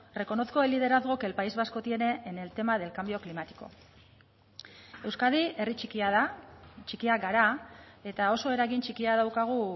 reconozco el liderazgo que el país vasco tiene en el tema del cambio climático euskadi herri txikia da txikiak gara eta oso eragin txikia daukagu